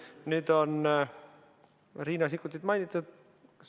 Nüüd on Riina Sikkutit mainitud.